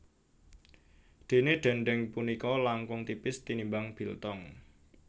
Déné dhèndhèng punika langkung tipis tinimbang biltong